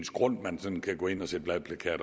grund man kan gå ind og sætte valgplakater